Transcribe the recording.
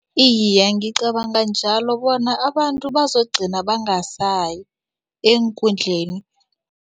Iye, ngicabanga njalo bona abantu bazokugcina bangasayi eenkundleni.